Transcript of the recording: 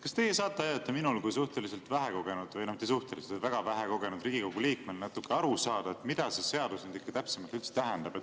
Kas teie saate aidata minul kui suhteliselt vähekogenud – või mitte suhteliselt, vaid väga vähekogenud – Riigikogu liikmel natuke aru saada, mida see seadus täpsemalt tähendab?